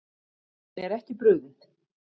Henni er ekki brugðið.